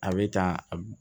A bɛ ta